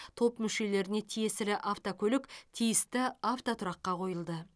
топ мүшелеріне тиесілі автокөлік тиісті автотұраққа қойылды